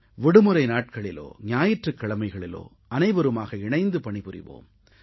விடுமுறை நாட்களிலோ ஞாயிற்றுக் கிழமைகளிலோ அனைவருமாக இணைந்து பணிபுரிவோம்